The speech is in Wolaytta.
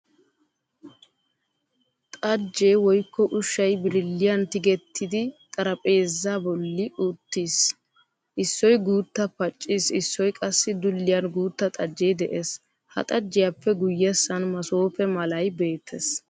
xajjee woykko ushshay birilliyaan tigettidi xarapheezza bollan uttiis. Issoy guutta pacciis issoy qassi dulliyan guutta xajjee de'ees. Ha xajjiyaappe guyessan masoope malay beettees.